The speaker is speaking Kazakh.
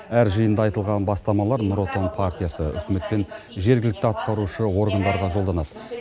әр жиында айтылған бастамалар нұр отан партиясы үкімет пен жергілікті атқарушы органдарға жолданады